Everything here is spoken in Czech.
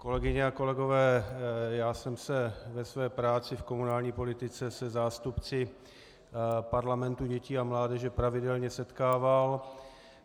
Kolegyně a kolegové, já jsem se ve své práci v komunální politice se zástupci parlamentu dětí a mládeže pravidelně setkával.